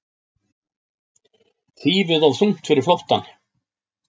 Þýfið of þungt fyrir flóttann